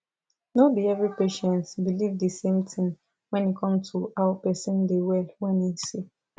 no be every patient believe de same thing when e come to how person da well when e sick